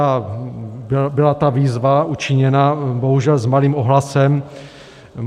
A byla ta výzva učiněna, bohužel s malým ohlasem.